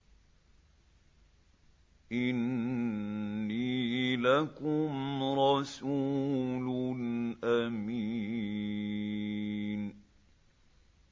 إِنِّي لَكُمْ رَسُولٌ أَمِينٌ